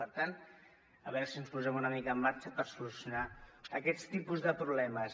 per tant a veure si ens posem una mica en marxa per solucionar aquests tipus de problemes